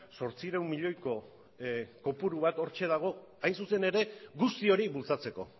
zortziehun milioiko kopuru bat hortxe dago hain zuzen ere guzti hori bultzatzeko